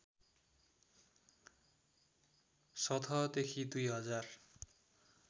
सतहदेखि २ हजार